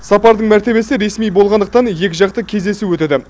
сапардың мәртебесі ресми болғандықтан екіжақты кездесу өтеді